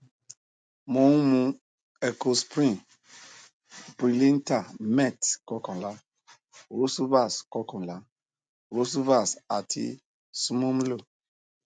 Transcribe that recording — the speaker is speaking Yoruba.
mo ń mu ecosprin brilinta met xl rosuvas xl rosuvas àti snumlo